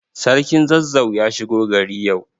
Sarkin Zazzau ya shigo gari yau.